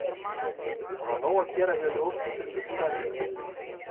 Það var nóg að gera hjá ljósmyndurum síðunnar í gær en þeir komu víða við.